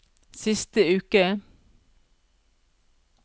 siste uke